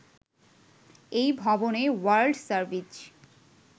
এই ভবনে world service